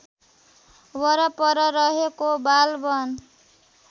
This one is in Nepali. वरपर रहेको बालवन